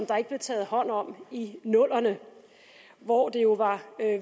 der ikke blev taget hånd om i nullerne hvor det jo var